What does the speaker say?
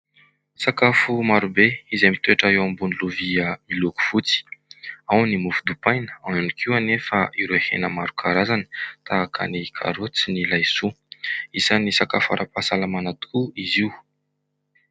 Sakafo marobe izay mitoetra eo ambony lovia miloko fotsy. Ao ny mofo dipaina, ao ihany koa anefa ireo hena maro karazany tahaka ny karôty sy ny laisoa. Isan'ny sakafo ara-pahasalamana tokoa izy io.